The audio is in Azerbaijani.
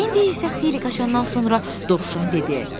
İndi isə xeyli qaçandan sonra Dovşan dedi: